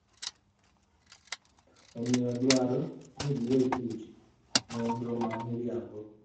Omiyo, odwaro ni giwe chuch nonro ma miriambono.